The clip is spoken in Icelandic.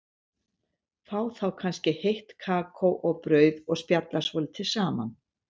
Fá þá kannski heitt kakó og brauð og spjalla svolítið saman.